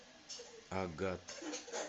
агат